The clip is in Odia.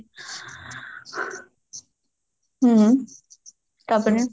ହ୍ମ ତାପରେ